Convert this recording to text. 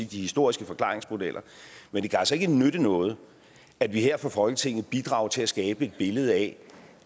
historiske forklaringsmodeller men det kan altså ikke nytte noget at vi her fra folketinget bidrager til at skabe et billede af